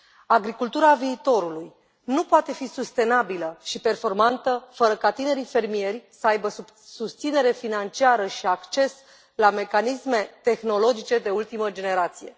Agricultura viitorului nu poate fi sustenabilă și performantă fără ca tinerii fermieri să aibă susținere financiară și acces la mecanisme tehnologice de ultimă generație.